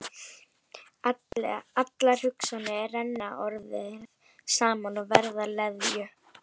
Allar hugsanirnar renna orðið saman og verða að leðju.